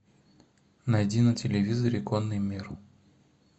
найди на телевизоре конный мир